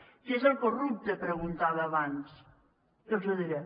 qui és el corrupte preguntava abans i els ho diré